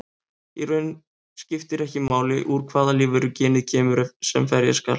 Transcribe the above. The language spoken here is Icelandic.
Í raun skiptir ekki máli úr hvaða lífveru genið kemur sem ferja skal.